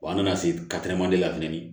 Wa an nana se la fɛnɛ